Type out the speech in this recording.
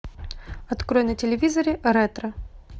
открой на телевизоре ретро